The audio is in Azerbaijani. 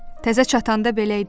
Təzə çatanda belə idi.